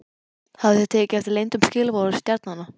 Hafið þið tekið eftir leyndum skilaboðum stjarnanna?